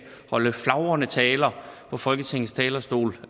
holde flagrende taler på folketingets talerstol